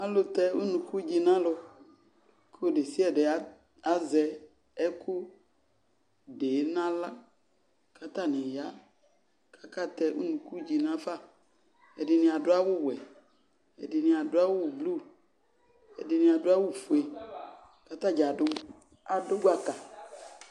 Ɔlu tɛ unukudze nalu, kɔ odesiade azɛ ɛko de yeye nahla ka atane ya kaka tɛ unukudze nafa Ɛdene ado awuwɛ ɛdene ado awu blu odene ado awufue ka tasza ado, ado gbaka